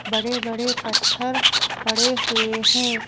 बड़े बड़े पत्थर पड़े हुए हैं।